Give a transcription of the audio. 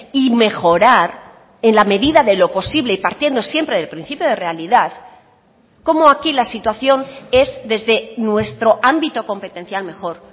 y mejorar en la medida de lo posible y partiendo siempre del principio de realidad cómo aquí la situación es desde nuestro ámbito competencial mejor